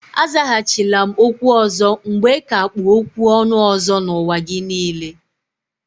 Azaghachila m okwu ọzọ mgbe ka kpụ okwu ọnụ ọzọ n'ụwa gị niile.